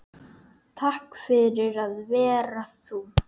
Takk fyrir að vera þú